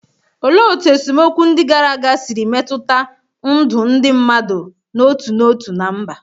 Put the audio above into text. Olee otú esemokwu ndị gara aga siri metụta ndụ ndị mmadụ n'otu n'otu na mba?